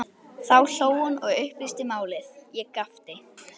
Þá hló hún og upplýsti málið, ég gapti.